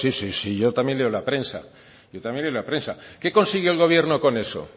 sí sí yo también leo la prensa yo también leo la prensa qué consiguió el gobierno con eso